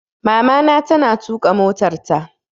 Mamana ta na tuƙa motarta